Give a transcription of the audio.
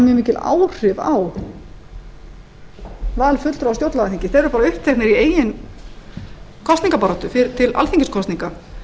mikil áhrif á val fulltrúa á stjórnlagaþingi þeir eru bara uppteknir í eigin kosningabaráttu til alþingiskosninga